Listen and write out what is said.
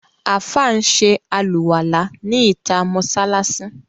Àfáà ń ṣe àlùwàlá ní ìtà mọ́sáláṣí.